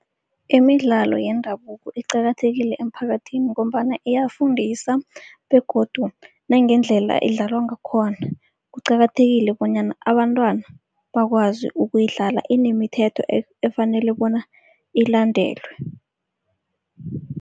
Imidlalo yendabuko iqakathekile emphakathini ngombana iyafundisa begodu nangendlela idlalwa ngakhona. Kuqakathekile bonyana abantwana bakwazi ukuyidlala, inemithetho efanele bona ilandelwe.